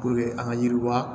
an ka yiriwa